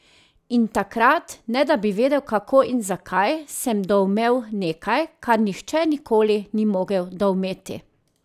In takrat, ne da bi vedel kako in zakaj, sem doumel nekaj, kar nihče nikoli ni mogel doumeti.